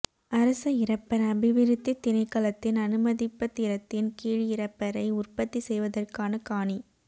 அரச இறப்பர் அபிவிருத்தித் திணைக்களத்தின் அனுமதிப்பத்திரத்தின் கீழ் இறப்பரை உற்பத்தி செய்வதற்கான காணி